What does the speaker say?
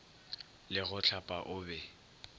le go hlapa o be